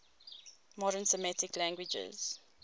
modern semitic languages